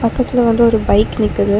பக்கத்துல வந்து ஒரு பைக் நிக்குது.